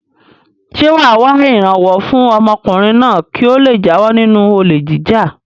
Ṣé wà á wá ìrànwọ́ fún ọmọkùnrin náà kí ó le jáwọ́ nínú olè jíjà?